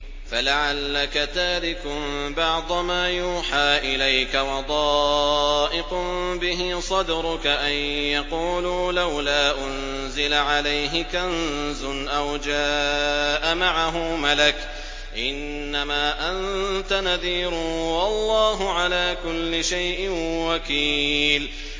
فَلَعَلَّكَ تَارِكٌ بَعْضَ مَا يُوحَىٰ إِلَيْكَ وَضَائِقٌ بِهِ صَدْرُكَ أَن يَقُولُوا لَوْلَا أُنزِلَ عَلَيْهِ كَنزٌ أَوْ جَاءَ مَعَهُ مَلَكٌ ۚ إِنَّمَا أَنتَ نَذِيرٌ ۚ وَاللَّهُ عَلَىٰ كُلِّ شَيْءٍ وَكِيلٌ